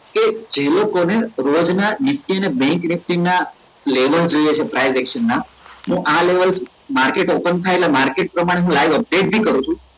કે જે લોકો ને રોજ ના nifty અને bank nifty ના level જોઈએ છે price ના મુ આ level market open થાય એટલે market પ્રમાણે હુ live update બી કરું છું